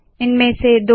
उनमें से दो